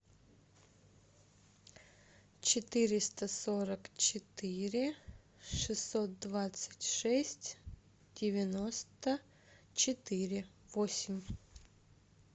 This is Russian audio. четыреста сорок четыре шестьсот двадцать шесть девяносто четыре восемь